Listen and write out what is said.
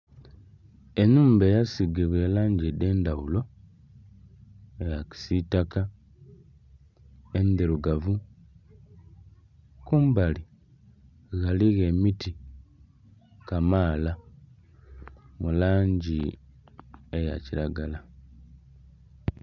Ennhumba eyasiigibwa elangi edh'endhaghulo, eya kisitaka, endhirugavu. Kumbali ghaligho emiti kamaala mu langi eya kilagala.